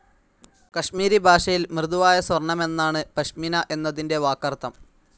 കശ്മീരി ഭാഷയലിൽ മൃദുവായ സ്വർണ്ണമെന്നാണ് പശ്മിന എന്നതിന്റെ വാക്കർത്ഥം.